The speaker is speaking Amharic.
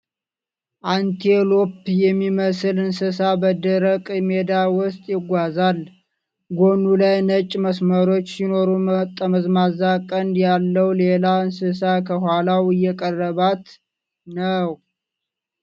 አንቴሎፕ የሚመስል እንስሳ በደረቅ ሜዳ ውስጥ ይጓዛል። ጎኑ ላይ ነጭ መስመሮች ሲኖሩት፣ ጠመዝማዛ ቀንድ ያለው ሌላ እንስሳ ከኋላው እየቀረባት ነው።